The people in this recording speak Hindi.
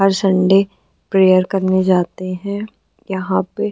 हर सन्डे प्रेयर करने जाते हैं। यहाँ पे --